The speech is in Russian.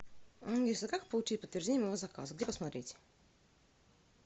алиса как получить подтверждение моего заказа где посмотреть